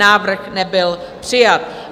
Návrh nebyl přijat.